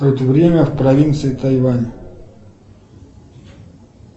время в провинции тайвань